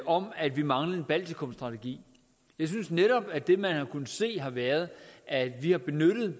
om at vi manglede en baltikumstrategi jeg synes netop at det man har kunnet se har været at vi har benyttet